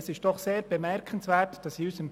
Es ist doch sehr bemerkenswert, dass in unserem